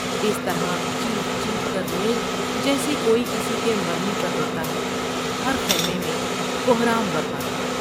اس طرح چیخ چیخ کر روئیں جیسے کوئی کسی کے مرنے پر روتا ہے ، ہر خیمے میں کہرام بر پا تھا ۔